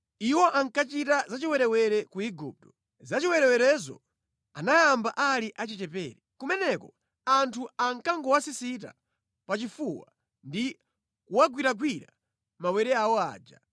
Iwo ankachita za chiwerewere ku Igupto. Za chiwerewerezo anayamba ali achichepere. Kumeneko anthu ankangowasisita pa chifuwa ndi kuwagwiragwira mawere awo aja.